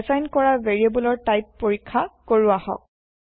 assign কৰা ভেৰিয়েব্লৰ type পৰীক্ষা কৰো আহক